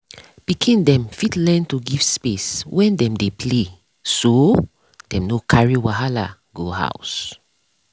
pikin dem fit learn to give space when dem dey play so dem no carry wahala go house.